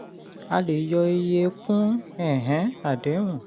a lè yọ iye kún um àdéhùn.